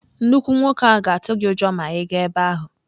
Nnukwu nwoke ahụ ga-atụ gị ụjọ ma ị gaa ebe ahụ.